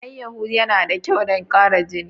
Alayyahu yana da kyau don ƙara jini.